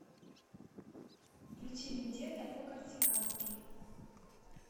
включи вендетта по корсикански